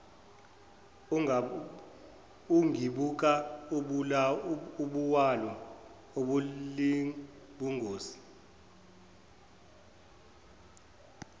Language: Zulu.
ungibuka ubuwula ubolibongisisa